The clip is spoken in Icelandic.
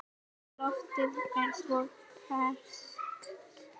Og loftið er svo ferskt.